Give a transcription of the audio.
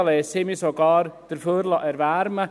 Dafür würde ich mich sogar erwärmen lassen.